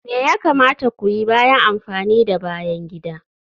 Me ya kamata ku yi bayan amfani da bayan gida?